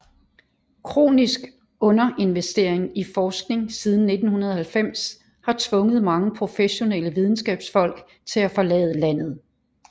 Kronisk underinvestering i forskning siden 1990 har tvunget mange professionelle videnskabsfolk til at forlade landet